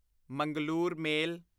Mangalore ਮੇਲ